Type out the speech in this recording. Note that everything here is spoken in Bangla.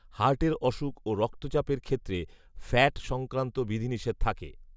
হার্টের অসুখ ও রক্তচাপের ক্ষেত্রে ফ্যাট সংক্রান্ত বিধিনিষেধ থাকে